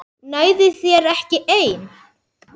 Nægði þér ekki ein?